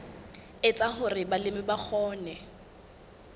etsa hore balemi ba kgone